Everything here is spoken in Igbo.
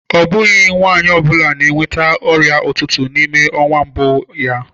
Ọ bụghị nwanyị ọ bụla na-enweta ọrịa ụtụtụ n'ime ọnwa mbụ ya.